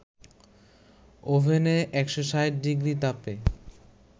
ওভেনে ১৬০ ডিগ্রি তাপে